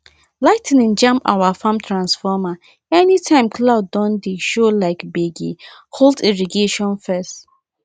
lightning jam our farm transformeranytime cloud don dey show like gbege hold irrigation first